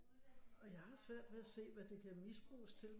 Og jeg har svært ved at se hvad det kan misbruges til